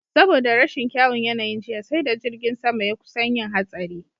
Saboda rashin kyaun yanayin jiya, sai da jirgin sama ya kusan yin hatsari.